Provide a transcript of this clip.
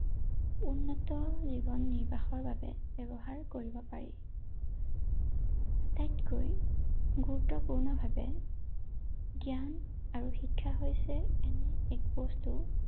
উন্মুক্ত জীৱন নিৰ্বাহৰ বাবে ব্যৱহাৰ কৰিব পাৰি ৷ আটাইতকৈ, গুৰুত্বপূৰ্ণ ভাৱে জ্ঞান আৰু শিক্ষা হৈছে এনে এক বস্তু